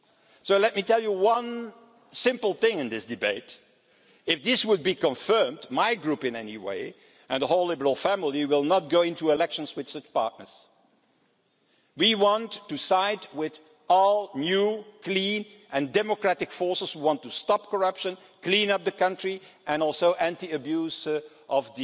So let me tell you one simple thing in this debate if this were to be confirmed, my Group in any case, and the whole liberal family, will not go into elections with such partners. We want to side with all new clean and democratic forces who want to stop corruption, clean up the country and are also anti abuse